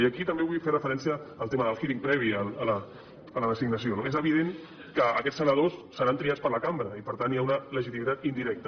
i aquí també vull fer referència al tema del hearing previ a la designació no és evident que aquests senadors seran triats per la cambra i per tant hi ha una legitimitat indirecta